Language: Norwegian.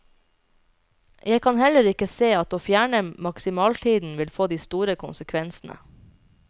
Jeg kan heller ikke se at å fjerne maksimaltiden vil få de store konsekvensene.